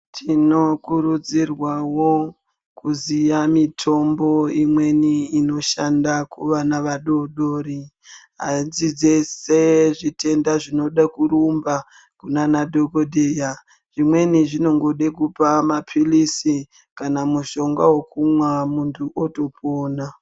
Tinokurudzirwawo kuziya mitombo imweni inoshanda kuvana vadodori adzisi dzeshe zvitenda zvinode kurumba kuna nadhokodheya zvimweni zvinongoda kupa mapilizi kana mushonga wekumwa mutu otopona.